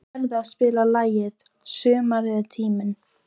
Gerðar, spilaðu lagið „Sumarið er tíminn“.